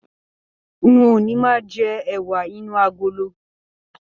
N o ní máa jẹ ẹwà inú agolo.